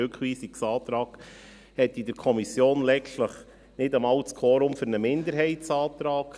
Der Rückweisungsantrag erreichte in der Kommission letztlich nicht einmal das Quorum für einen Minderheitsantrag.